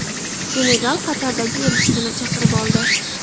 Senegal Qatardagi elchisini chaqirib oldi.